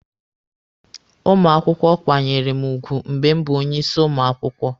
Ụmụ akwụkwọ kwanyere mụ ugwu mgbe m bụ onye isi ụmụ akwụkwọ.